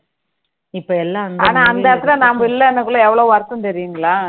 ஆனா அந்த இடத்துல நம்ம இல்லன்னா எவ்ளோ வருத்தம் தெரியுங்களா